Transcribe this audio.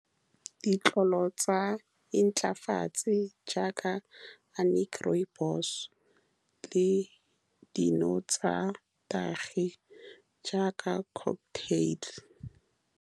Ditlolo tsa intlafatse jaaka rooibos-e le dino tsa nnotagi, jaaka cocktail.